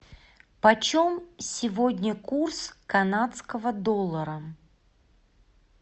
по чем сегодня курс канадского доллара